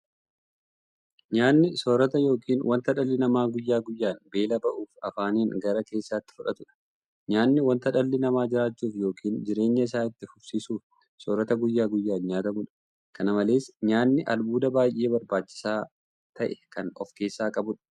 Nyaanni soorata yookiin wanta dhalli namaa guyyaa guyyaan beela ba'uuf afaaniin gara keessaatti fudhatudha. Nyaanni wanta dhalli namaa jiraachuuf yookiin jireenya isaa itti fufsiisuuf soorata guyyaa guyyaan nyaatamuudha. Kana malees nyaanni albuuda baay'ee barbaachisaa ta'e kan ofkeessaa qabuudha.